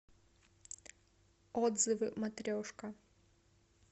отзывы матрешка